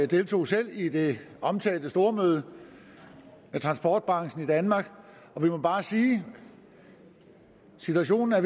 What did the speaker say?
deltog selv i det omtalte stormøde med transportbranchen i danmark og vi må bare sige at situationen er